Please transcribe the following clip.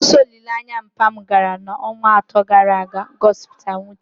Mkpọsa olili papa m gara n’ọnwa atọ gara aga gosipụtara mwute, na-echeta ndị ahụ pụrụ.